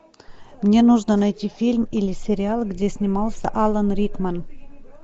мне нужно найти фильм или сериал где снимался алан рикман